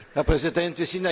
Herr Präsident!